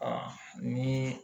ni